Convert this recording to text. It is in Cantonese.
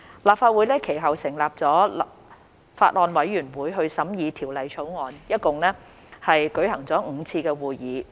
立法會其後成立了法案委員會審議《條例草案》，一共舉行了5次會議。